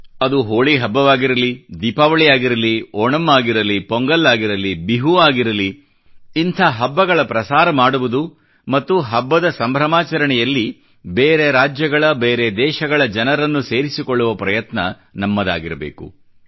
ಅದು ಹೋಳಿ ಹಬ್ಬವಾಗಿರಲಿ ದೀಪಾವಳಿ ಆಗಿರಲಿ ಓಣಂ ಆಗಿರಲಿ ಪೊಂಗಲ್ ಆಗಿರಲಿ ಬಿಹು ಆಗಿರಲಿ ಇಂಥ ಹಬ್ಬಗಳ ಪ್ರಸಾರ ಮಾಡುವುದು ಮತ್ತು ಹಬ್ಬದ ಸಂಭ್ರಮಾಚರಣೆಯಲ್ಲಿ ಬೇರೆ ರಾಜ್ಯಗಳ ಬೇರೆ ದೇಶಗಳ ಜನರನ್ನು ಸೇರಿಸಿಕೊಳ್ಳುವ ಪ್ರಯತ್ನ ನಮ್ಮದಾಗಿರಬೇಕು